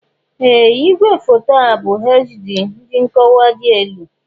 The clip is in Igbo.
Ee! Ìgwèfoto a bụ HD (dị nkọwa dị elu).